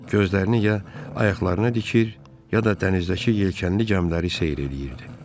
Gözlərini ya ayaqlarına dikir, ya da dənizdəki yelkənli gəmiləri seyr eləyirdi.